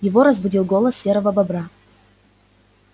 его разбудил голос серого бобра